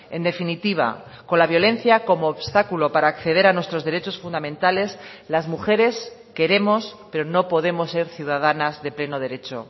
en definitiva con la violencia como obstáculo para acceder a nuestros derechos fundamentales las mujeres queremos pero no podemos ser ciudadanas de pleno derecho